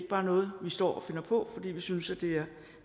bare noget vi står og finder på fordi vi synes det